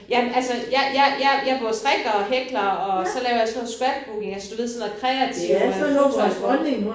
Jamen altså jeg jeg jeg jeg både strikker og hækler og så laver jeg sådan noget scrapbook du ved altså sådan noget kreativ øh fotoalbum